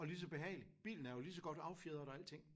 Og lige så behagelig? Bilen er jo lige så godt affjedret og alting